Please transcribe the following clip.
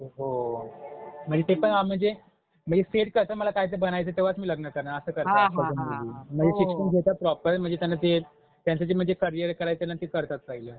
अ, हो म्हणजे ते पण अ म्हणजे, म्हणजे सेल्फ असं मला काहीतरी बनायचंय तेव्हाच मी लग्न करणार असं करतात आजकालच्या मुली. म्हणजे शिक्षण घेतात प्रॉपर म्हणजे त्यांना ते त्यांचं जे म्हणजे करियर करायचंय न ते करतात काहीजण